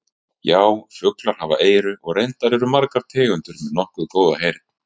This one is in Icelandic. Já, fuglar hafa eyru og reyndar eru margar tegundir með nokkuð góða heyrn.